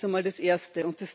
Das ist einmal das Erste.